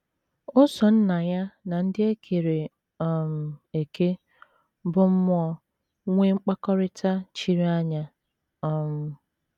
O so Nna ya na ndị e kere um eke bụ́ mmụọ nwee mkpakọrịta chiri anya um.